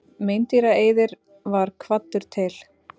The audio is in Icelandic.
Meindýraeyðir var kvaddur til.